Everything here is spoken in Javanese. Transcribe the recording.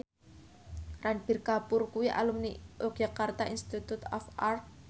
Ranbir Kapoor kuwi alumni Yogyakarta Institute of Art